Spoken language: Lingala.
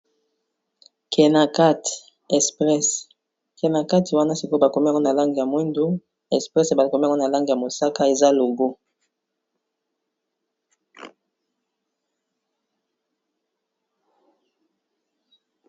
Kenakati express, kenakati wana sikoyo ba komi yango na langi ya mwindu express ba komi yango na langi ya mosaka eza logo.